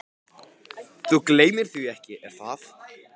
Þú gleymir því ekki, er það?